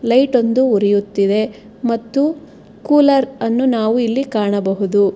ಲೈಟೊಂದು ಉರಿಯುತ್ತಿದೆ ಮತ್ತು ಕೂಲರ್ ಅನ್ನು ನಾವು ಇಲ್ಲಿ ಕಾಣಬಹುದು.